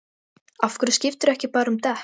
Af hverju skiptirðu ekki bara um dekk?